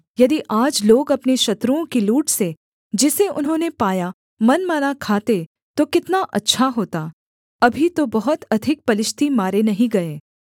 यदि आज लोग अपने शत्रुओं की लूट से जिसे उन्होंने पाया मनमाना खाते तो कितना अच्छा होता अभी तो बहुत अधिक पलिश्ती मारे नहीं गए